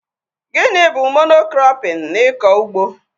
Gịnị bụ Mono-krọpin n'ikọ ugbo?